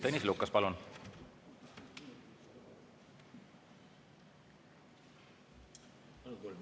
Tõnis Lukas, palun!